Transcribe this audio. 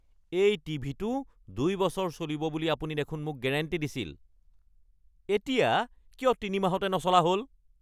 এই টিভিটো ২ বছৰ চলিব বুলি আপুনি দেখোন মোক গেৰাণ্টি দিছিল, এতিয়া কিয় ৩ মাহতে নচলা হ'ল!